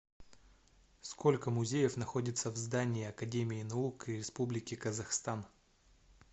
сколько музеев находится в здании академии наук республики казахстан